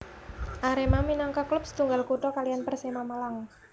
Arema minangka klub setunggal kutha kaliyan Persema Malang